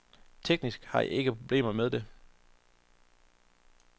Teknisk har jeg ikke problemer med det.